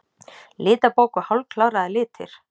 Litabók og hálfkláraðir litir.